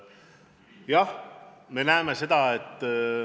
Jah, me näeme seda.